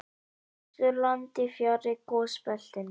Austurlandi, fjarri gosbeltinu.